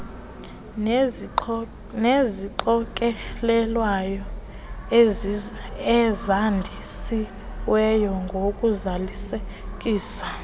nezixokelelwano ezandisiweyo ngokuzalisekisa